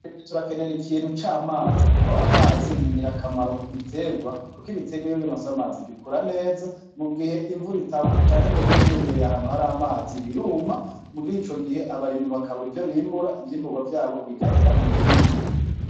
Turakenera ikintu c'amazi. Kuko amazi ni ngirakamaro ku biterwa. Kuko ibiterwa iyo bironse amazi bikura neza. Mugihe imvura itagwa canke ngo bibe vyegereye ahantu hari amazi, biruma, murico gihe abarimyi bakabura ivyo bimbura, ivyimburwa vyabo bigahera mu mirima.